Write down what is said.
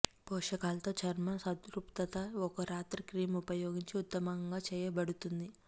పోషకాలతో చర్మం సంతృప్తత ఒక రాత్రి క్రీమ్ ఉపయోగించి ఉత్తమంగా చేయబడుతుంది